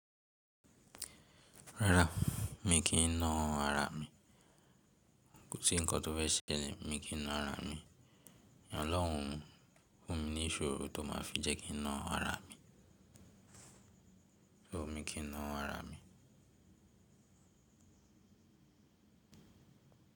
Rárá, mi kì í na ara mi. Kò sí ǹkan tó fé ṣe lẹ́, mi kí n na ara mi. Ọlọ́hun fún mi ní ìṣòro tó má fi jẹ́ kí n na ara mi. No, mi kí n na ara mi.